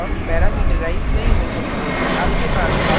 लेकिन nonstatic block parameterise नहीं हो सकते